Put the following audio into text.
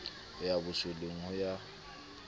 ho ya bosoleng ho ya